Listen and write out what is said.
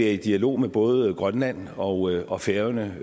i dialog med både grønland og og færøerne